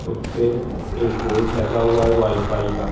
उसपे एक बोर्ड लगा हुआ है वाई फाई का।